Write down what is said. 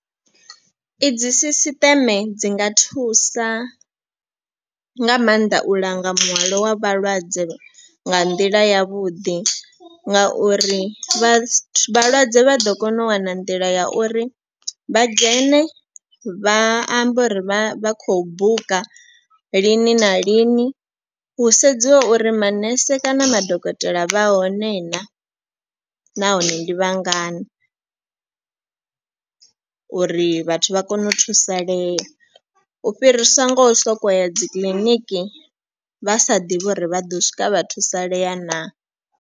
I dzi sisiṱeme dzi nga thusa nga maanḓa u langa muhwalo wa vhalwadze nga nḓila ya vhuḓi. Nga uri vhalwadze vha ḓo kona u wana nḓila ya uri vha dzhene vha ambe uri vha khou buka lini na lini. Hu sedziwa uri manese kana madokotela vha hone naa nahone ndi vhangana. Uri vhathu vha kone u thusalea u fhirisa ngo sokou ya dzi kiḽiniki vha sa ḓivhi uri vha ḓo swika vha thusalea naa.